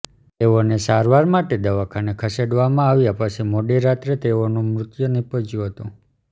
તેઓને સારવાર માટે દવાખાને ખસેડવામાં આવ્યા પછી મોડીરાત્રે તેઓનું મૃત્યુ નિપજ્યું હતું